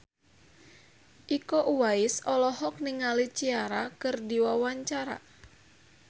Iko Uwais olohok ningali Ciara keur diwawancara